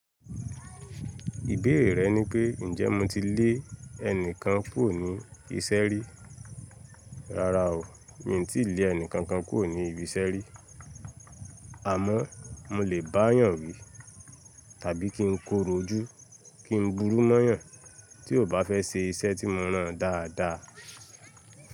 Ìbéèrè rẹ ni pé, ǹjẹ́ mo ti lé ẹnìkan kúrò ní iṣẹ́ rí? Rárá o, mi ò tí ì lé ẹnìkankan kúrò ní ibi iṣẹ́ rí. Àmọ́ mo lè bá yàn wí tàbí kí n korò ojú, kí n burú mọ́yàn tí ò bá fẹ́ ṣe iṣẹ́ tí mo rán dáadáa.